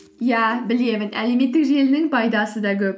иә білемін әлеуметтік желінің пайдасы да көп